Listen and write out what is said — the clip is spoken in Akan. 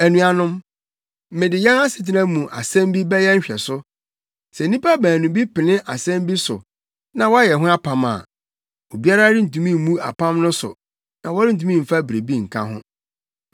Anuanom, mede yɛn asetena mu asɛm bi bɛyɛ nhwɛso: Sɛ nnipa baanu bi pene asɛm bi so na wɔyɛ ho apam a, obiara rentumi mmu apam no so na wɔrentumi mfa biribi nka ho.